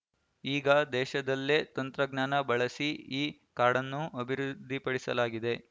ಈಗ ದೇಶದಲ್ಲೇ ತಂತ್ರಜ್ಞಾನ ಬಳಸಿ ಈ ಕಾರ್ಡನ್ನು ಅಭಿವೃದ್ಧಿಪಡಿಸಲಾಗಿದೆ